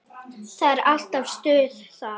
Það er alltaf stuð þar.